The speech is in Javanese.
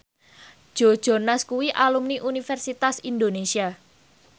Joe Jonas kuwi alumni Universitas Indonesia